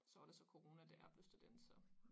Så var der så corona da jeg blev student så